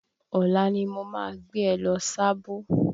Ọ̀la ni mo ma gbé ẹ lọ Sábó.